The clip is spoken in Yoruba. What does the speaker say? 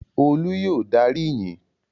Olú yóò darí ìyìn!